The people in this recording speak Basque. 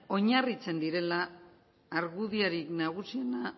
oinarritzen direla argudiorik nagusienak